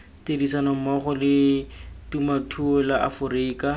tirisanommogo la temothuo la aforika